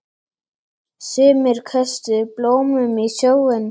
Sumir köstuðu blómum í sjóinn.